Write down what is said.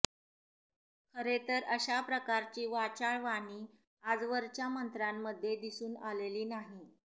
खरे तर अशा प्रकारची वाचाळ वाणी आजवरच्या मंत्र्यांमध्ये दिसून आलेली नाही